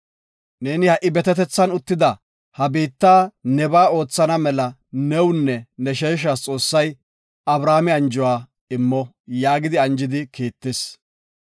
Neeni ha7i betetethan uttida ha biitta nebaa oothana mela newunne ne sheeshas Xoossay Abrahaame anjuwa immo” yaagi anjidi kiittis.